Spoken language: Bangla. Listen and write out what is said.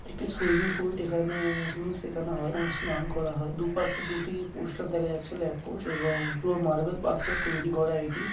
এটি সুইমিংপুল এখানে সুইমিং শেখানো হয় এবং স্নান করা হয়। দুপাশে দুটি পোস্টার দেখা যাচ্ছে। ল্যাম্প পোস্ট এবং পুরো মার্বেল পাথরের তৈরি করা এটি ।